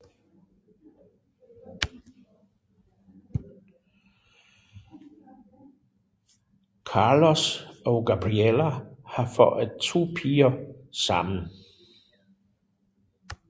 Carlos og Gabriella har fået 2 piger sammen